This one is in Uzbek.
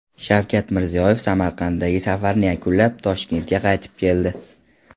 Shavkat Mirziyoyev Samarqandga safarini yakunlab, Toshkentga qaytib keldi.